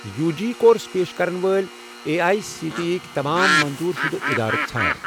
U G course پیش کرن وٲلۍ A I C T E یٕک تمام منظور شُدٕ اِدارٕ ژھار۔